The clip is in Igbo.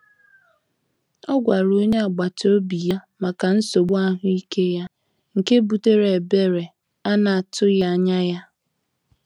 Ọ gwara onye agbata obi ya maka nsogbu ahụike ya, nke butere ebere a na-atụghị anya ya.